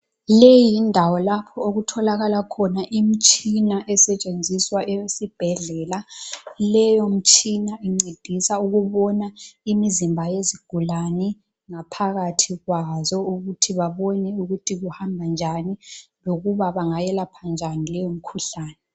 Leyi yindawo lapho okutholakala khona imtshina esetshenziswa esibhedlela. Leyo mtshina incedisa ukubona imizimba yezigulane ngaphakathi kwazo ukuthi babone ukuthi kuhamba njani lokuba bangayelapha njani leyo mikhuhlane.